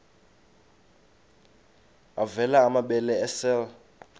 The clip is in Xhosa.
avela amabele esel